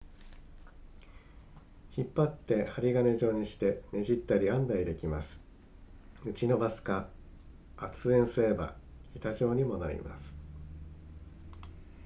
引っ張って針金状にしてねじったり編んだりできます打ち伸ばすか圧延すれば板状にもなります